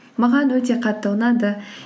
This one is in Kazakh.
маған өте қатты ұнады